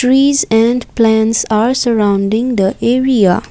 trees and plants are surrounding the area.